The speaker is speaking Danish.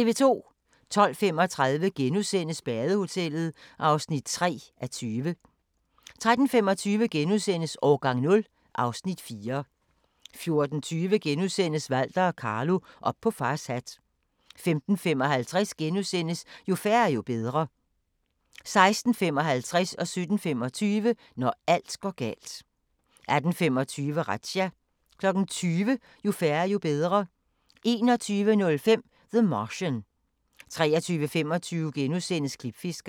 12:35: Badehotellet (3:20)* 13:25: Årgang 0 (Afs. 4)* 14:20: Walter og Carlo - op på fars hat * 15:55: Jo færre, jo bedre * 16:55: Når alt går galt 17:25: Når alt går galt 18:25: Razzia 20:00: Jo færre, jo bedre 21:05: The Martian 23:25: Klipfiskerne *